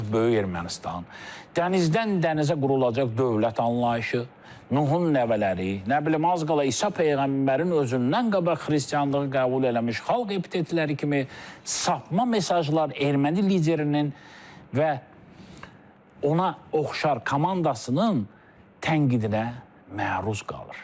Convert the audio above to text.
Artıq böyük Ermənistan, dənizdən dənizə qurulacaq dövlət anlayışı, Nuhun nəvələri, nə bilim az qala İsa peyğəmbərin özündən qabaq Xristianlığı qəbul eləmiş xalq epitetləri kimi sapma mesajlar erməni liderinin və ona oxşar komandasının tənqidinə məruz qalır.